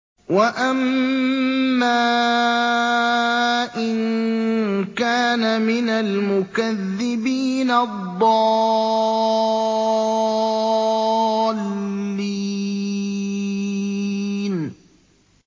وَأَمَّا إِن كَانَ مِنَ الْمُكَذِّبِينَ الضَّالِّينَ